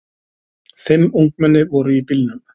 Fimm ungmenni voru í bílnum.